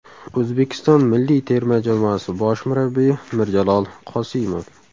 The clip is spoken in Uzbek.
O‘zbekiston milliy terma jamoasi bosh murabbiyi Mirjalol Qosimov.